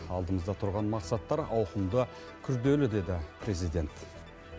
алдымызда тұрған мақсаттар ауқымды күрделі деді президент